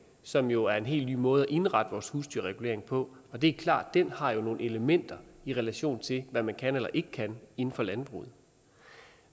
som jo er en helt ny måde at indrette vores husdyrregulering på og det er klart at den har nogle elementer i relation til hvad man kan eller ikke kan inden for landbruget